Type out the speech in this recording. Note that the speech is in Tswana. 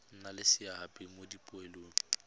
nna le seabe mo dipoelong